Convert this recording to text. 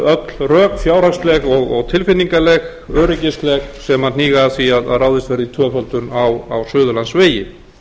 öll rökfjárhagsleg og tilfinningaleg öryggisleg sem hníga að því að ráðist verði í tvöföldun á suðurlandsvegi